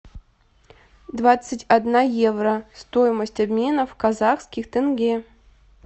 двадцать одна евро стоимость обмена в казахских тенге